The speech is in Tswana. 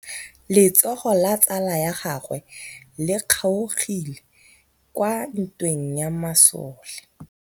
Letsôgô la tsala ya gagwe le kgaogile kwa ntweng ya masole.